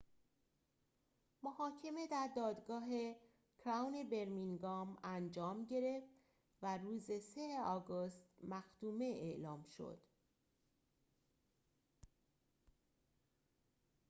محاکمه در دادگاه کراون برمینگام انجام گرفت و روز ۳ آگوست مختومه اعلام شد